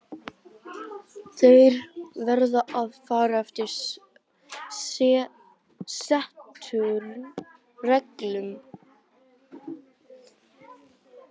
Eins er með ykkar göngumenn, þeir verða að fara eftir settum reglum.